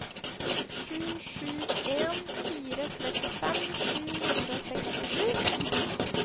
sju sju en fire trettifem sju hundre og sekstisju